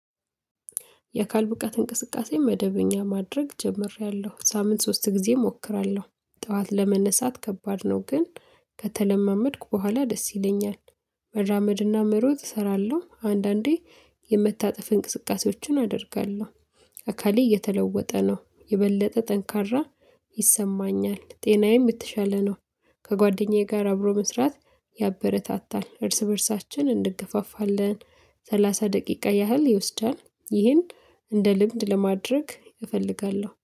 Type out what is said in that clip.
የአካል ብቃት እንቅስቃሴ መደበኛ ማድረግ ጀምሬያለሁ በሳምንት ሶስት ጊዜ እሞክራለሁ ጥዋት ለመነሳት ከባድ ነው ግን ከተለማመድኩ በኋላ ደስ ይለኛል። መራመድና መሮጥ እሰራለሁ አንዳንዴ የመታጠፍ እንቅስቃሴዎችን አደርጋለሁ። አካሌ እየተለወጠ ነው የበለጠ ጠንካራ ይሰማኛል ጤናዬም የትሻለ ነው። ከጓደኛዬ ጋር አብሮ መስራት ያበረታታል እርስ በእርሳችን እንገፋፋለን። ሰላሳ ደቂቃ ያህል ይወስዳል ይህን። እንደ ልምድ ለማድረግ እፈልጋለሁ